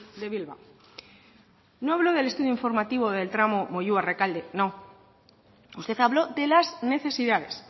de bilbao no habló del estudio informativo del tramo moyua rekalde no usted habló de las necesidades